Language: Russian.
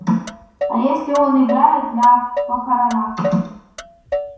а если он играет на похоронах